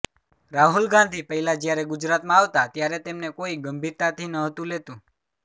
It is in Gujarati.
રાહુલ ગાંધી પહેલા જ્યારે ગુજરાતમાં આવતા ત્યારે તેમને કોઇ ગંભીરતાથી નહતું લેતું